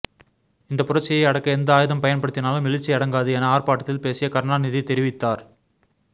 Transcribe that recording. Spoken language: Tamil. இந்த புரட்சியை அடக்க எந்த ஆயுதம் பயன்படுத்தினாலும் எழுச்சி அடங்காது என ஆர்பாட்டத்தில் பேசிய கருணாநிதி தெரிவித்தார்